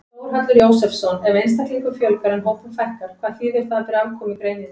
Þórhallur Jósefsson: Ef einstaklingum fjölgar en hópum fækkar, hvað þýðir það fyrir afkomu í greininni?